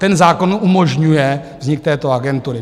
Ten zákon umožňuje vznik této agentury.